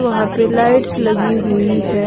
वहां पे लाइट्स लगी हुई है।